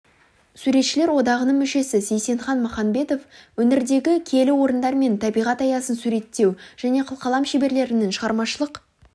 суретшілер одағының мүшесі сейсенхан маханбетов өңірдегі киелі орындар мен табиғат аясын суреттеу және қылқалам шеберлерінің шығармашылық